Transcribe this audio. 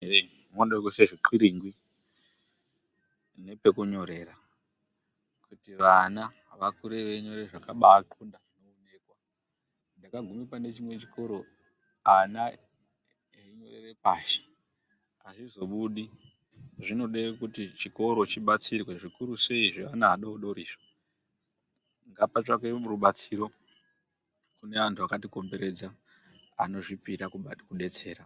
Eree munoda kuiswa zvixliringi nepekunyorera kuti vana vakure veinyora zvakabaaxlonda. Ndakaguma pane chimwe chikora ana einyorera pashi. Azvizobudi, zvinoda kuti chikoro chibatsirwe zvikuru sei zveana adodori. Ngapatsvakwe rubatsiro kuna antu akatikomberedza kune antu akazvipira kudetsera.